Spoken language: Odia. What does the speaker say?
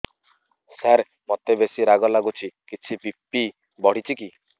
ସାର ମୋତେ ବେସି ରାଗ ଲାଗୁଚି କିଛି ବି.ପି ବଢ଼ିଚି କି